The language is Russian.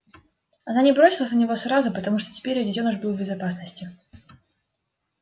она не бросилась на него сразу потому что теперь её детёныш был в безопасности